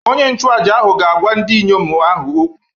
Onye nchụàjà ahụ ga-agwa ndị inyom ahụ okwu